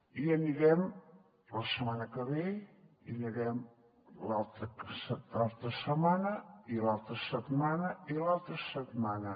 hi anirem la setmana que ve hi anirem l’altra setmana l’altra setmana i l’altra setmana